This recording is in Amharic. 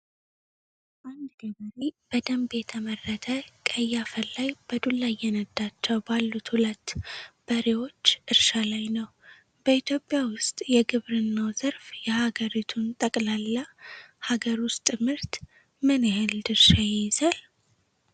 አንድ ገበሬ በደንብ የተመረተ ቀይ አፈር ላይ በዱላ እየነዳቸው ባሉት ሁለት በሬዎች እርሻ ላይ ነው። በኢትዮጵያ ውስጥ የግብርናው ዘርፍ የሀገሪቱን ጠቅላላ ሀገር ውስጥ ምርት (GDP) ምን ያህል ድርሻ ይይዛል?